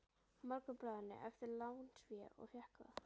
Morgunblaðinu eftir lánsfé og fékk það.